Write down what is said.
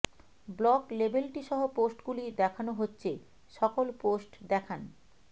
blog লেবেলটি সহ পোস্টগুলি দেখানো হচ্ছে সকল পোস্ট দেখান